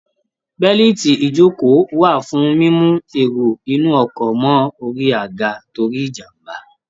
Bẹ́lìtì ìjókòó wà fún mímú èrò inú ọkọ̀ mọ́ orí aga torí ìjàmbá